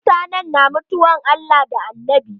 Wasu mutanen ba sua mutuwan Allah da Annabi.